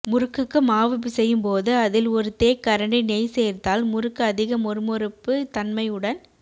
முறுக்குக்கு மாவு பிசையும்போது அதில் ஒரு தேக்கரண்டி நெய் சேர்த்தால் முறுக்கு அதிக மொறு மொறுப்பு தன்மையுடன்